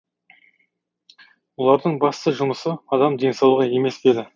олардың басты жұмысы адам денсаулығы емес пе еді